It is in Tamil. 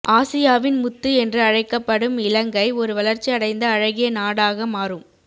ஆசியாவின் முத்து என்று அழைக்கப்படும் இலங்கை ஒரு வளர்ச்சி அடைந்த அழகிய நாடாக மாறும்